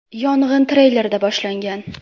Yong‘in treylerda boshlangan.